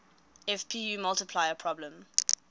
fpu multiplier problem